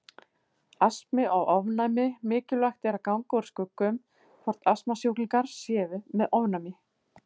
Astmi og ofnæmi Mikilvægt er að ganga úr skugga um hvort astmasjúklingar séu með ofnæmi.